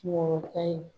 Wɔɔrɔ kan